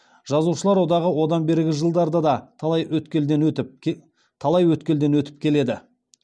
жазушылар одағы одан бергі жылдарда да талай өткелден өтіп келеді